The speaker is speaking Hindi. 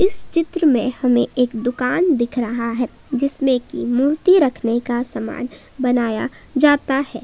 इस चित्र में हमें एक दुकान दिख रहा है जिसमें की मूर्ति रखने का समान बनाया जाता है।